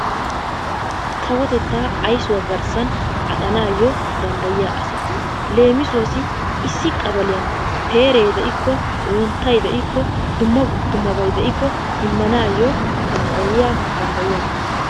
Kawotettaa aysuwa garssan aqanaayyo danddayiya asaa leemisuwassi Issi qabaliyan peeree de'ikko wonttayi de'ikko dummabayi dummabayi de'ikko immanaayyo danddayiyagaa.